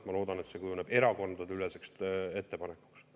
Ma loodan, et see kujuneb erakondadeüleseks ettepanekuks.